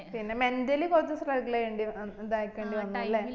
പിന്നെ mentally കൊറച് struggle ചെയ്യേണ്ടി ഏർ ഇതാക്കണ്ടേ വന്നുല്ലേ